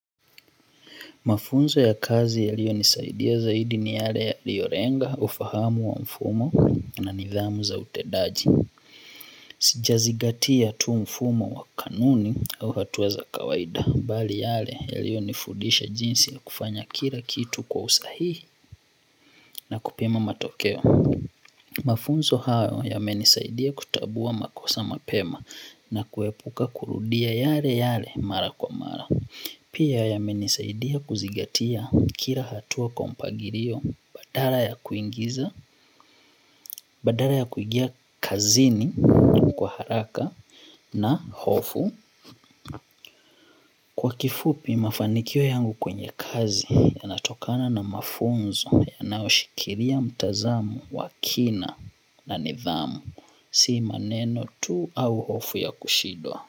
Mafunzo ya kazi yaliyonisaidia zaidi ni yale yaliolenga ufahamu wa mfumo na nidhamu za utendaji. Sijazingatia tu mfumo wa kanuni au hatua za kawaida. Bali yale yaliyonifudisha jinsi ya kufanya kila kitu kwa usahihi na kupima matokeo. Mafunzo hayo yamenisaidia kutambua makosa mapema na kiepuka kurudia yaleyale mara kwa mara pia yamenisaidia kuzingatia kila hatua kwa mpangilio badala ya kuingia kazini kwa haraka na hofu kwa kifupi mafanikio yangu kwenye kazi yanatokana na mafunzo yanayoshikilia mtazamo wa kina na nidhamu, si maneno tu au hofu ya kushindwa.